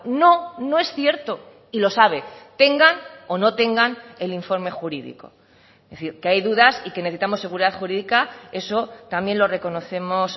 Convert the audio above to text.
no no es cierto y lo sabe tengan o no tengan el informe jurídico es decir que hay dudas y que necesitamos seguridad jurídica eso también lo reconocemos